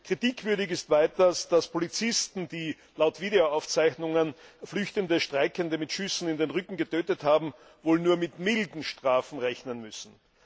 Kritikwürdig ist weiters, dass Polizisten, die laut Videoaufzeichnungen flüchtende Streikende mit Schüssen in den Rücken getötet haben, wohl nur mit milden Strafen rechnen müssen.